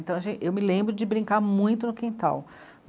Então eu me lembro de brincar muito no quintal.